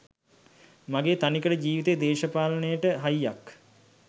මගේ තනිකඩ ජීවිතේ දේශපාලනයට හයියක්.